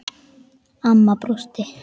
Amma brosti.